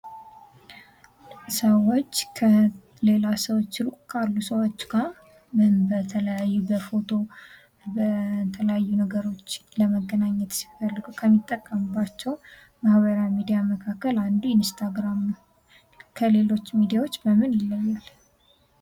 ሰዎች ከሌላ ሰዎች ሩቅ ካሉ ሰዎች ጋር በፎቶ፥ በተለያየ ነገሮች ለመገናኘት ሲፈልጉ ከሚጠቀሙባቸው ማህበራዊ ሚዲያዎች አንዱ ኢንስታግራም ነው። ከሌሎች ሚድያዎች በምን ይለያል?